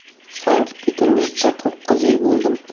Sankt-Peterburgda to‘qqiz yil bo‘ldim.